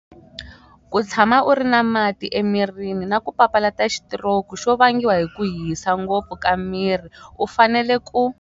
Ku tshama u ri na mati emirini na ku papalata xitiroku xo vangiwa hi ku hisa ngopfu ka miri u fanele ku.